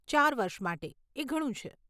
ચાર વર્ષ માટે, એ ઘણું છે.